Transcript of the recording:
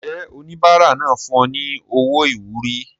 Ǹjẹ́ oníbàárà náà fún ọ ní owó ìwúrí?